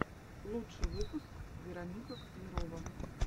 лучший выпуск вероника котлярова